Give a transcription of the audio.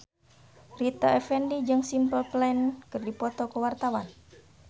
Rita Effendy jeung Simple Plan keur dipoto ku wartawan